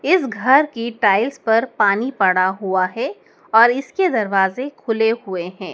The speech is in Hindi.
इस घर की टाइल्स पर पानी पड़ा हुआ है और इसके दरवाजे खुले हुए हैं।